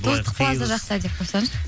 достық плаза жақта деп қойсаңызшы